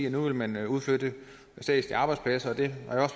at nu vil man udflytte statslige arbejdspladser det